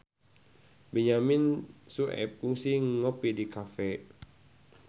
Benyamin Sueb kungsi ngopi di cafe